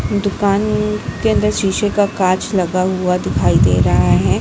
दुकान में के अंदर शीशे का कांच लगा हुआ दिखाई दे रहा है।